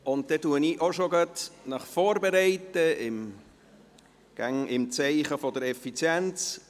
Dann bereite ich Sie auch schon vor, immer im Zeichen der Effizienz: